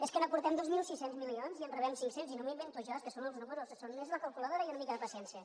és que n’aportem dos mil sis cents milions i en rebem cinc cents i no m’ho invento jo és que són els números és la calculadora i una mica de paciència